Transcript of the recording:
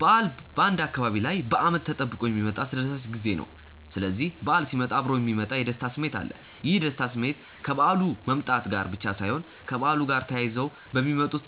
በዓል በአንድ አካባቢ ላይ በአመት ተጠብቆ የሚመጣ አስደሳች ጊዜ ነው። ስስዚህ በዓል ሲመጣ እብሮ የሚመጣ የደስታ ስሜት አለ። ይህ የደስታ ስሜት ከበዓሉ መምጣት ጋር ብቻ ሳይሆን ከበዓሉ ጋር ተያይዘው በሚመጡት